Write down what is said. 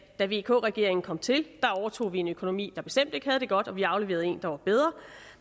da vk regeringen kom til overtog vi en økonomi der bestemt ikke havde det godt og vi afleverede en der var bedre